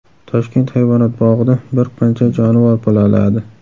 Toshkent hayvonot bog‘ida bir qancha jonivor bolaladi.